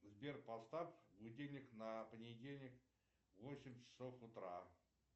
сбер поставь будильник на понедельник восемь часов утра